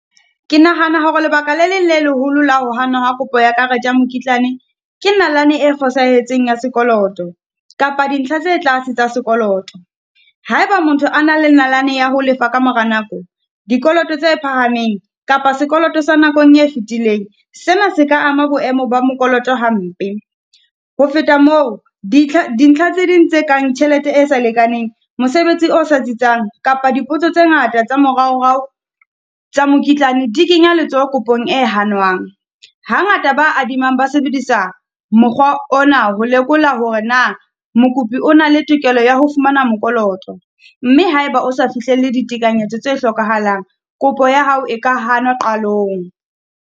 Ke nahana hore lebaka lr leng le leholo la ho hanwa ha kopo ya karete ya mokitlane, ke nalane e fosahetseng ya sekoloto kapa dintlha tse tlase tsa sekoloto Ha e ba motho a na le nalane ya ho lefa ka mora nako, dikoloto tse phahameng kapa sekoloto sa nakong e fitileng. Sena se ka ama boemo ba mokoloto hampe. Ho feta moo, dintlha tse ding tse kang tjhelete e sa lekaneng, mosebetsi o sa tsitsang kapa dipotso tse ngata tsa moraorao tsa mokitlane di kenya letsoho kopong e hanwang. Hangata ba adimanang ba sebedisa mokgwa ona, ho lekola hore na mokopi o na le tokelo ya ho fumana mokoloto. Mme ha e ba o sa fihlelle ditekanyetso tse hlokahalang, kopo ya hao e ka hanwa qalong.